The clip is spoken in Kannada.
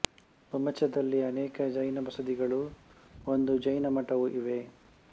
ಹುಮಚದಲ್ಲಿ ಅನೇಕ ಜೈನ ಬಸದಿಗಳೂ ಒಂದು ಜೈನ ಮಠವೂ ಇವೆ